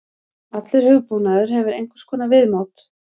Allur hugbúnaður hefur einhvers konar viðmót.